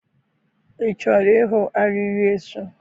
I chọrọ ịhụ arịrị eso?